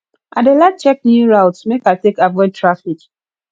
i dey like check new routes make i take avoid traffic